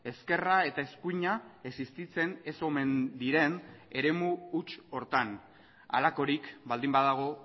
ezkerra eta eskuina existitzen ez omen diren eremu huts horretan halakorik baldin badago